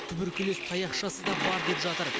туберкулез таяқшасы да бар деп жатыр